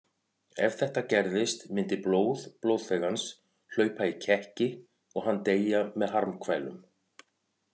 Ef þetta gerðist myndi blóð blóðþegans hlaupa í kekki og hann deyja með harmkvælum.